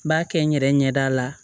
N b'a kɛ n yɛrɛ ɲɛda la